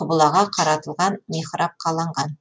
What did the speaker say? құбылаға қаратылған михраб қаланған